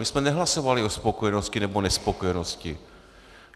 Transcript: My jsme nehlasovali o spokojenosti nebo nespokojenosti.